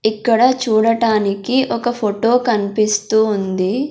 ఇక్కడ చూడటానికి ఒక ఫోటో కనిపిస్తూ ఉంది.